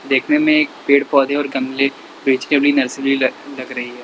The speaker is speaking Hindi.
देखने में एक पेड़ पौधे और गमले नर्सरी ल लग रही हैं।